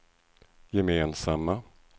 gemensamma